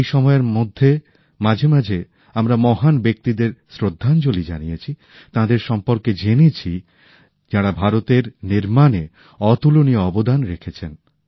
এই সময়ের মধ্যে মাঝে মাঝে আমরা মহান ব্যক্তিদের শ্রদ্ধাঞ্জলি জানিয়েছি তাঁদের সম্বন্ধে জেনেছি যাঁরা ভারতের নির্মাণে অতুলনীয় অবদান রেখেছেন